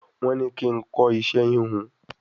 Wọ́n ní kí n kọ́ iṣẹ́ híhun